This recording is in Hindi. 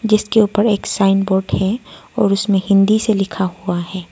जिसके ऊपर एक साइनबोर्ड है और उसमें हिंदी से लिखा हुआ है।